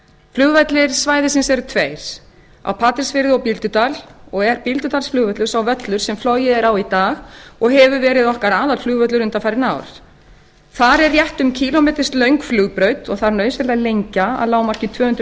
flugvellir svæðisins eru tveir á patreksfirði og bíldudal dag er bíldudalsflugvöllur sá völlur sem flogið er á í dag og hefur verið okkar aðalflugvöllur undanfarin ár þar er rétt um kílómetra löng flugbraut og þarf nauðsynlega að lenda að lágmarki tvö hundruð